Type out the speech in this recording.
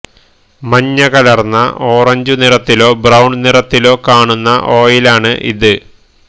മഞ്ഞകലര്ന്ന orange നിറത്തിലോ brown നിറത്തിലോ കാണുന്ന ഓയിലാണ് ഇത്